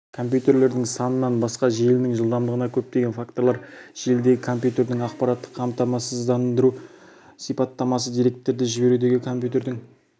компьютерлердің санынан басқа желінің жылдамдығына көптеген факторлар желідегі компьютердің аппараттық қамтамасыздандыру сипаттамасы деректерді жіберудегі компьютердің